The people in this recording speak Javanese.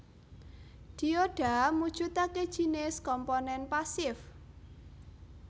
Dioda mujudake jinis komponen pasif